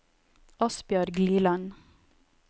Asbjørg Liland